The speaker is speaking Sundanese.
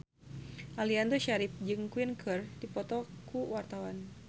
Aliando Syarif jeung Queen keur dipoto ku wartawan